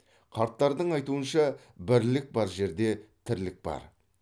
қарттардың айтуынша бірлік бар жерде тірлік бар